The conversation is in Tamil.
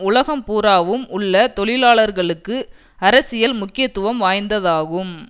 உலகம் பூராவும் உள்ள தொழிலாளர்களுக்கு அரசியல் முக்கியத்துவம் வாய்ந்ததாகும்